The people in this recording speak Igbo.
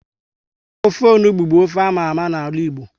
Ofe onugbu bu ofe ámá ámá na ala Igbo